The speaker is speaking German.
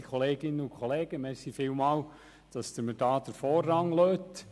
Vielen Dank, dass Sie mir hier den Vorrang lassen.